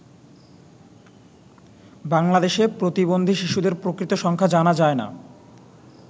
বাংলাদেশে প্রতিবন্ধী শিশুদের প্রকৃত সংখ্যা জানা যায় না।